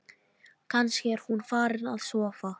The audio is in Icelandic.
Kannski er hún farin að sofa.